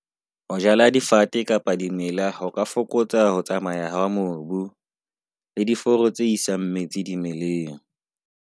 Ho difate kapa di mela ho ka fokotsa ho tsamaya ha mobu le diforo tse isang metsi dimeleng.